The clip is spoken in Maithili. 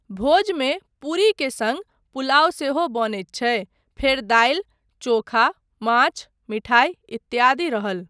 भोजमे पूरी के सङ्ग पुलाव सेहो बनैत छै, फेर दालि, चोखा, माछ, मिठाइ इत्यादि रहल।